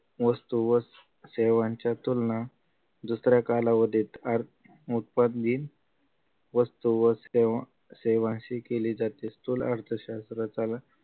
वस्तु व सेवांच्या तुलना दुसऱ्या कालावधीत आर्थि उत्पादिन वस्तू व सेवा सेवाशी केली जाते स्थूल अर्थशास्त्रातील